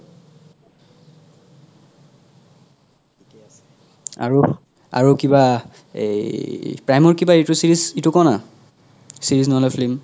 আৰু আৰু কিবা এই prime ৰ কিবা এইতো series ইতো ক না series নহলে film